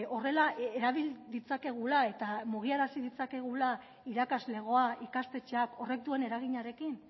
horrela erabil ditzakegula eta mugiarazi ditzakegula irakaslegoa ikastetxeak horrek duen eraginarekin